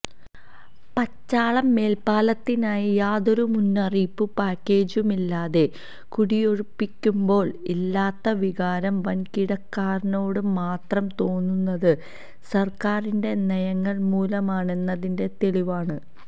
പച്ചാളം മേൽപ്പാലത്തിനായി യാതാരു മുന്നറിയിപ്പും പാക്കേജുമില്ലാതെ കുടിയൊഴിപ്പിക്കുമ്പോൾ ഇല്ലാത്ത വികാരം വൻകിടക്കാരനോട് മാത്രം തോന്നുന്നത് സർക്കാറിന്റെ നയങ്ങൾ മൂലമാണെന്നതിന്റെ തെളിവാണ്